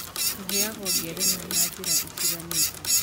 Tũheagwo ngerenwa na njĩra itiganĩte.